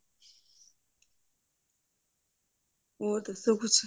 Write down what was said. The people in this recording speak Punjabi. ਹੋਰ ਦੱਸੋ ਕੁਛ